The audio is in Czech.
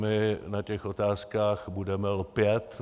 My na těch otázkách budeme lpět.